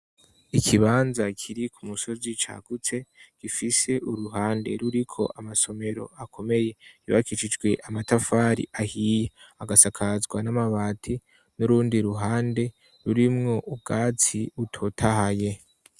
Ikibanza kiri ku musozi cagutse gifise uruhande ruriko amasomero akomeye bakicijwe amatafari ahiya agasakazwa n'amabati n'urundi ruhande rurimwo ubwatsi utotahaye.